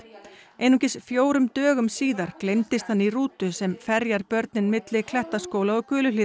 einungis fjórum dögum síðar gleymdist hann í rútu sem börnin milli Klettaskóla og